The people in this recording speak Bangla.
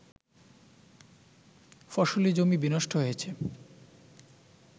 ফসলী জমি বিনষ্ট হয়েছে